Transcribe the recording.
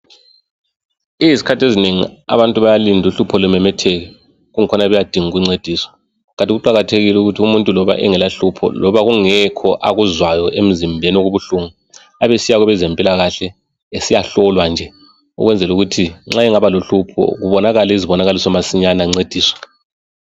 Izikhathi ezinengi abantu bayalinda uhlupho lumemetheka inkhona beyadinga ukuncediswa kanti kuqakathekile ukuthi umuntu loba engela hlupho loba kungekho akuzwayo emzimbeni okubuhlungu. Abesiya kwabezempilakahle esiyahlolwa nje ukwenzela ukuthi nxa engaba lohlupho kubonakale izibonakaliso masinyane ancediswe.